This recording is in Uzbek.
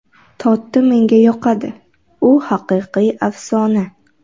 Totti menga yoqadi, u haqiqiy afsona.